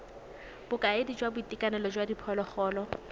bokaedi jwa boitekanelo jwa diphologolo